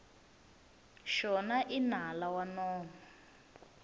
xona i nala wa nomo